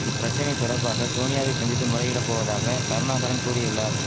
இப்பிரச்சனை தொடர்பாக சோனியாவை சந்தித்து முறையிட போவதாக கருணாகரன் கூறியுள்ளார்